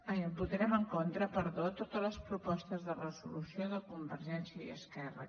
ai votarem en contra perdó de totes les propostes de resolució de convergència i esquerra